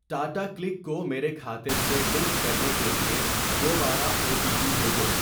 Tata Cliq کو میرے کھاتے سے لنک کرنے کے لیے دوبارہ او ٹی پی بھیجو۔